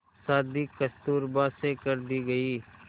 शादी कस्तूरबा से कर दी गई